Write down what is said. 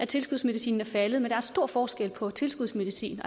tilskudsmedicinen er faldet men der er stor forskel på tilskudsmedicin